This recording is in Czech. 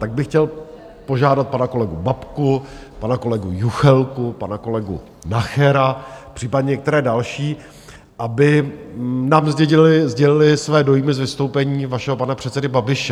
Tak bych chtěl požádat pana kolegu Babku, pana kolegu Juchelku, pana kolegu Nachera, případně některé další, aby nám sdělili své dojmy z vystoupení vašeho pana předsedy Babiše.